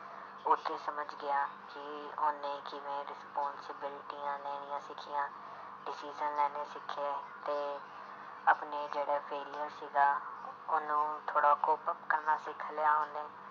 ਉੱਥੇ ਸਮਝ ਗਿਆ ਕਿ ਉਹਨੇ ਕਿਵੇਂ ਰਿਸਪੋਂਸੀਬਿਲਟੀਆਂ ਲੈਣੀਆਂ ਸਿੱਖੀਆਂ decision ਲੈਣੇ ਸਿੱਖੇ ਤੇ ਆਪਣੇ ਜਿਹੜੇ failure ਸੀਗਾ ਉਹਨੂੰ ਥੋੜ੍ਹਾ ਕਰਨਾ ਸਿੱਖ ਲਿਆ ਉਹਨੇ